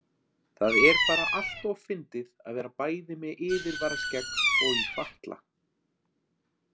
Það er bara alltof fyndið að vera bæði með yfirvaraskegg og í fatla.